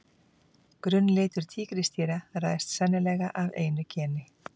Grunnlitur tígrisdýra ræðst sennilega af einu geni.